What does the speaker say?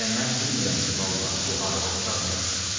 Hələ mən bilmirəm ki, vallah bu arvad-uşaq nə deyir.